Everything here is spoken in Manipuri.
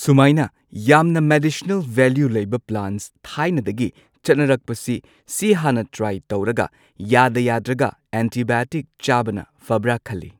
ꯁꯨꯃꯥꯏꯅ ꯌꯥꯝꯅ ꯃꯦꯗꯤꯁꯅꯦꯜ ꯚꯦꯂ꯭ꯌꯨ ꯂꯩꯕ ꯄ꯭ꯂꯥꯟꯠ ꯊꯥꯏꯅꯗꯒꯤ ꯆꯠꯅꯔꯛꯄꯁꯤ ꯍꯥꯟꯅ ꯇ꯭ꯔꯥꯏ ꯇꯧꯔꯒ ꯌꯥꯗ ꯌꯥꯗ꯭ꯔꯒ ꯑꯦꯟꯇꯤꯕꯥꯏꯑꯣꯇꯤꯛ ꯆꯥꯕꯅ ꯐꯕ꯭ꯔ ꯈꯜꯂꯤ꯫